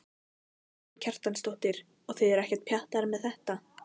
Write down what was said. Karen Kjartansdóttir: Og þið eruð ekkert pjattaðar með þetta?